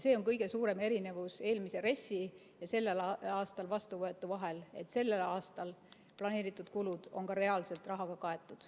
See on kõige suurem erinevus eelmise RES‑i ja sellel aastal vastuvõetu vahel, et sellel aastal planeeritud kulud on ka reaalselt rahaga kaetud.